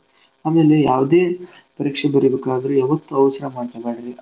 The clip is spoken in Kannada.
ಆಮೇಲೆ ಯಾವ್ದೇ ಪರೀಕ್ಷೆ ಬರೀಬೇಕಾದ್ರೂ ಯಾವತ್ತು ಅವ್ಸ್ರಾ ಮಾಡ್ಕ್ಯಬೇಡ್ರಿ